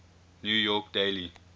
new york daily